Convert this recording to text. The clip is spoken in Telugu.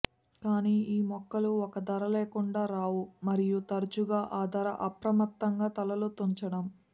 కానీ ఈ మొక్కలు ఒక ధర లేకుండా రావు మరియు తరచుగా ఆ ధర అప్రమత్తంగా తలలు తుంచడం